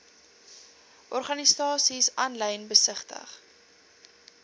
organisasies aanlyn besigtig